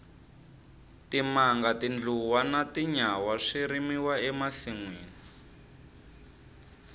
timanga tindluwa na tinyawa swi rimiwa e masinwini